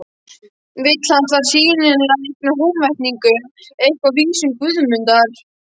Vill hann þar sýnilega eigna Húnvetningum eitthvað af vísum Guðmundar.